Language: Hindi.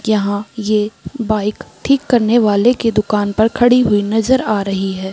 यहां ये बाइक ठीक करने वाले के दुकान पे खड़ी हुई नजर आ रही है।